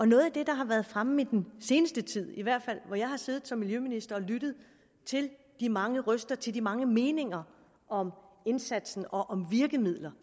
noget af det der har været fremme i den seneste tid i hvert fald hvor jeg har siddet som miljøminister og lyttet til de mange røster til de mange meninger om indsatsen og om virkemidler